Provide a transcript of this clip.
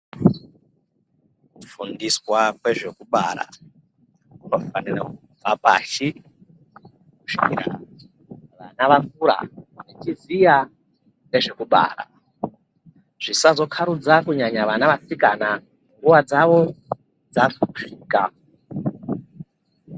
Kufundiswa kwezvekubara kunofanira kubva pashi kusvikira vana vakura vachiziya ngezvekubara zvisazokarudza kunyanya vana vasikana nguwa dzawo dzasvika.